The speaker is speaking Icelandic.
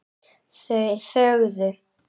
Þau þögðu.